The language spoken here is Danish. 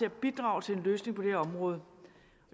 at bidrage til en løsning på det her område